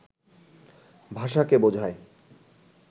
ভাষাকে বোঝায়